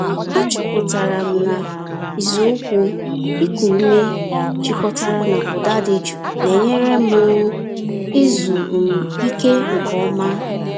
Achọpụtara m na ịzụ ụkwụ iku ume jikọtara na ụda dị jụụ na-enyere m um izu um ike nke ọma.